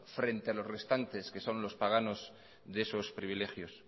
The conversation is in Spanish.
frente a los restantes que son los paganos de esos privilegios